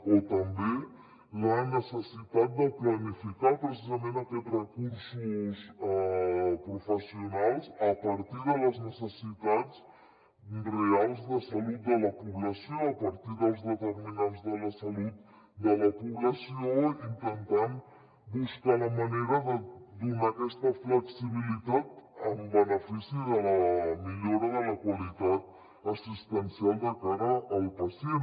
o també la necessitat de planificar precisament aquests recursos professionals a partir de les necessitats reals de salut de la població a partir dels determinants de la salut de la població intentant buscar la manera de donar aquesta flexibilitat en benefici de la millora de la qualitat assistencial de cara al pacient